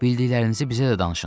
Bildiklərinizi bizə də danışın.